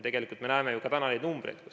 Me näeme ju tänaseid numbreid.